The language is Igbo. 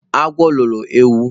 Agwo loro ewu